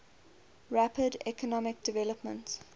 rapid economic development